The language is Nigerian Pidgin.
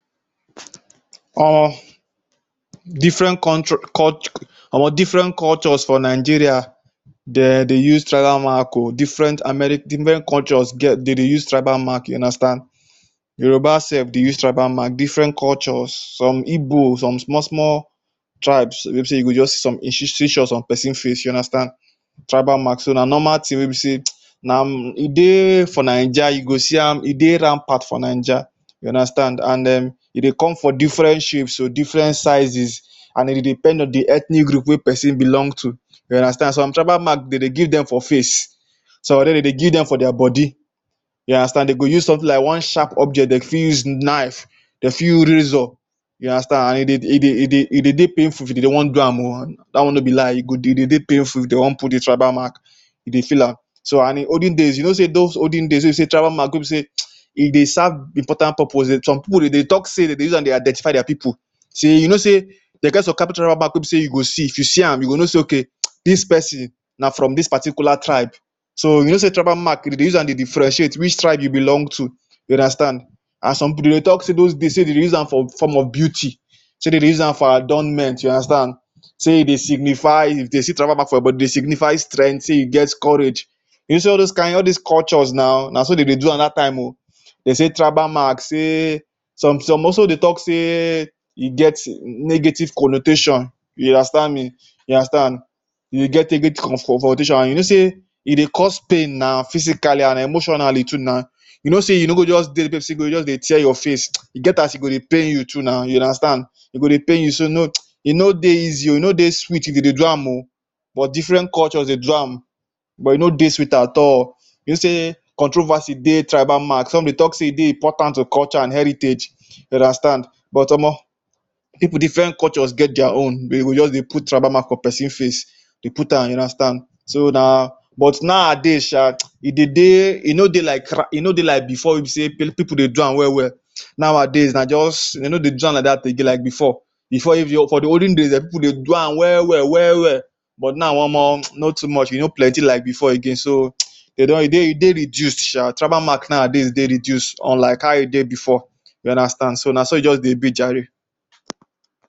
[um]different contro cul our different cultures for Nigeria dem dey use tribal mark o for different different cultures dem dey use tribal mark you understand. Yoruba sef dey use tribal mark. Different cultures, some Igbos some small small tribes wey be say you go just see some institutions person face, you understand. Tribal mark, so na normal thing wey be say um na e dey for Naija you go see am, e dey rampart for Naija, you understand. And um e dey come for different shapes o, different sizes and e depend on the ethnic group wey person belong to, you understand. Some tribal mark dey dey give dem for face. Some already dem dey give dem for their body, you understand. Dem go use something like one sharp object, dey fit use knife, dey fit use razor you understand and e dey e dey e dey e dey dey painful if dey dey wan do am in oo. Dat one no be lie. E dey dey painful if dey wan put de tribal mark, you dey feel am. So and in olden days, you know say those olden days wey be say tribal mark wey be say um e dey serve important purpose. Some people dem dey talk say dem dey use am identify their people[?=um] sey you know sey dey get some tribal mark wey be say you go see, if you see am you go know say, “okay um, dis person na from dis particular tribe”. So you know say tribal mark, dem dey use am dey differentiate which tribe you belong to, you understand and some people dem dey talk say those days, dem dey use am for form of beauty. Say dem dey use am for adornment, you understand. Say e dey signify, if dey see tribal mark for body, e dey signify strength. Say you get courage. You know all dis kain, all dis cultures na na so dem dey do am dat time o. Dey say tribal mark say some some also dey talk say e get negative connotation, you understand me, you understand. You get negative confrontation and you know sey e dey cost pain na physically and emotionally too na. You know say you no go just dey person go just dey tear your face um, e get as you go dey pain you too na you understand. E go dey pain you. So um e no dey easy o, e no dey sweet if you dey do am. But different cultures dey do am but e no dey sweet at all. You know say controversy dey tribal mark. Some dey talk say e dey important to culture and heritage you understand but omo people different cultures get their own. Dey go just dey put tribal mark for person face, dey put am you understand. So na but nowadays shaa um e dey dey, e no dey like e no dey like before wey be sey people dey do am well well um. Nowadays na just dey no dey do am like dat again like before. Before if na for de olden days people dey do am well well well well but now omo um not too much. E no plenty like before again. So um dey don, e dey e dey reduced shaa. Tribal mark nowadays dey reduce unlike how e dey before um you understand. So na so e just dey be jare.